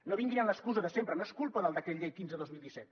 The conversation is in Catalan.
no vinguin amb l’excusa de sempre no és culpa del decret llei quinze dos mil disset